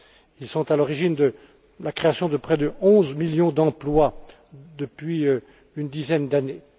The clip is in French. Ils sont à l'origine de la création de près de onze millions d'emplois depuis une dizaine d'années.